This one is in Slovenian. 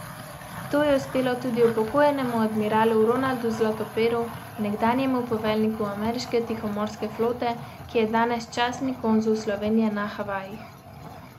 To je uspelo tudi upokojenemu admiralu Ronaldu Zlatoperu, nekdanjemu poveljniku ameriške tihomorske flote, ki je danes častni konzul Slovenije na Havajih.